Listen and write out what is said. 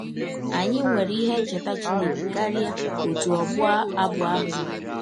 Anyị nwere ihe ncheta Chineke karịa ọtụ ọbụ abụ ahụ nwere.